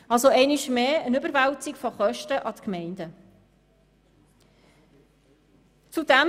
Es findet also einmal mehr eine Verlagerung der Kosten auf die Gemeinden statt.